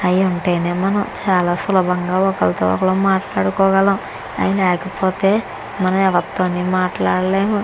అయి ఉంటేనే మనం చాలా సులభం గా ఒకలతో ఒకలాం మాట్లాడుకో గాలం అయి లేకపోతే ఎం ఎవరితోనూ మాట్లాడలేము.